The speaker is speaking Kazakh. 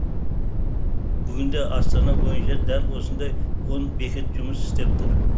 бүгінде астана бойынша дәл осындай он бекет жұмыс істеп тұр